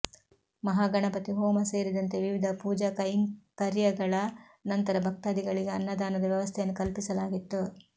ಮಹಾಗಣಪತಿ ಹೋಮ ಸೇರಿದಂತೆ ವಿವಿಧ ಪೂಜಾಕೈಂಕರ್ಯಗಳ ನಂತರ ಭಕ್ತಾಧಿಗಳಿಗೆ ಅನ್ನದಾನದ ವ್ಯವಸ್ಥೆಯನ್ನು ಕಲ್ಪಿಸಲಾಗಿತ್ತು